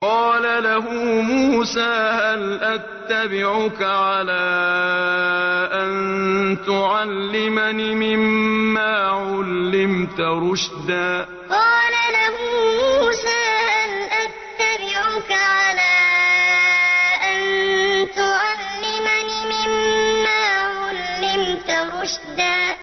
قَالَ لَهُ مُوسَىٰ هَلْ أَتَّبِعُكَ عَلَىٰ أَن تُعَلِّمَنِ مِمَّا عُلِّمْتَ رُشْدًا قَالَ لَهُ مُوسَىٰ هَلْ أَتَّبِعُكَ عَلَىٰ أَن تُعَلِّمَنِ مِمَّا عُلِّمْتَ رُشْدًا